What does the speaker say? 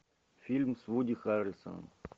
фильм с вуди харрельсоном